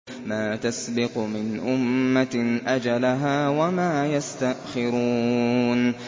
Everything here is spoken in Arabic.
مَّا تَسْبِقُ مِنْ أُمَّةٍ أَجَلَهَا وَمَا يَسْتَأْخِرُونَ